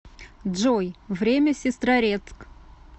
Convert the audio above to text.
джой время в сестрорецк